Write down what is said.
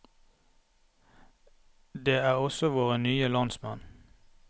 Det er også våre nye landsmenn.